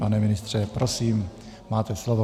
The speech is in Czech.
Pane ministře, prosím, máte slovo.